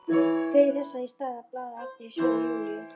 Fer þess í stað að blaða aftur í sögu Júlíu.